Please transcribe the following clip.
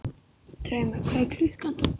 Drauma, hvað er klukkan?